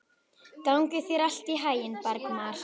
Gangi þér allt í haginn, Bergmar.